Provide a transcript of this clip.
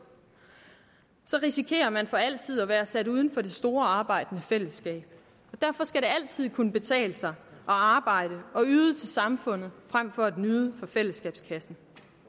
risikerer man for altid at være sat uden for det store arbejdende fællesskab derfor skal det altid kunne betale sig at arbejde og yde til samfundet frem for at nyde fra fællesskabets kasse